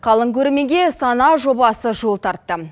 қалың көрерменге сана жобасы жол тартты